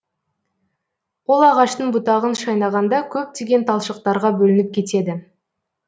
ол ағаштың бұтағын шайнағанда көптеген талшықтарға бөлініп кетеді